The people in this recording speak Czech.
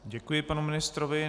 Děkuji panu ministrovi.